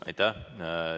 Aitäh!